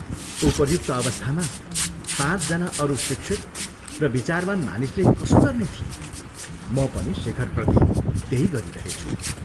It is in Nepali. उपर्युक्त अवस्थामा पाँचजना अरू शिक्षित र विचारवान् मानिसले कसो गर्ने थिए, म पनि शेखरप्रति त्यही गरिरहेछु।